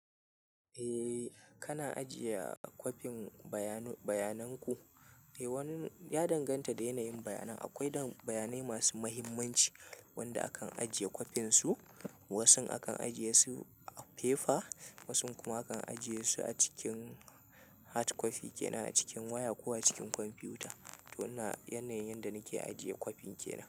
Eh, kana ajiye kwafin bayanan ku. Eh wani ya danganta da yanayin bayanan. Akwai bayanan masu muhimmanci wanda akan ajiye kwafin su. Wasun akan ajiye su a fefa wasun kuma akan ajiye su a cikin hard copy kenan a cikin waya ko a cikin kwamfiyuta. To ina yanayin da nake ajiye kwafin kenan.